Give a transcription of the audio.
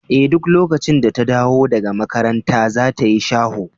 Eh duk lokacin da ta dawo daga makaranta za ta yi shaho.